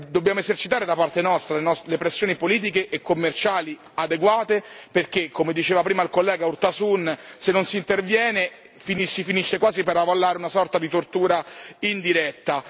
Dobbiamo esercitare, da parte nostra, le pressioni politiche e commerciali adeguate perché, come diceva prima il collega Urtasun, se non si interviene si finisce quasi per avallare una sorta di tortura in diretta.